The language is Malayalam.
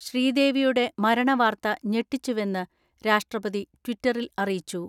ശ്രീദേവിയുടെ മരണ വാർത്ത ഞെട്ടിച്ചുവെന്ന് രാഷ്ട്രപതി ട്വിറ്ററിൽ അറിയിച്ചു.